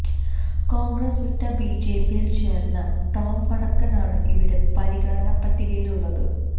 കോൺഗ്രസ് വിട്ട് ബിജെപിയിൽ ചേർന്ന ടോം വടക്കൻ ആണ് ഇവിടെ പരിഗണന പട്ടികയിുള്ളത്